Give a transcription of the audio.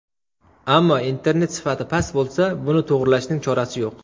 Ammo internet sifati past bo‘lsa, buni to‘g‘rilashning chorasi yo‘q.